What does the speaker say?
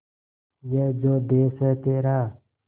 ये जो देस है तेरा